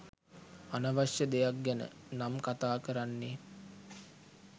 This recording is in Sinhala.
අනවශ්‍ය දෙයක් ගැන නම් කතා කරන්නේ